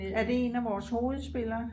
er det en af vores hovedspillere?